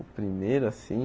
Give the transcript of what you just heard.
O primeiro, assim.